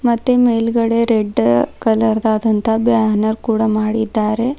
ಮತ್ತೆ ಮೇಲ್ಗಡೆ red colour ಆದಂತ ಬ್ಯಾನರ್ ಕೂಡ ಮಾಡಿದ್ದಾರೆ.